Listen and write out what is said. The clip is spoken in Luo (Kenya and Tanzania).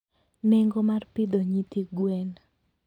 Nengo mar pidho nyithi gwen.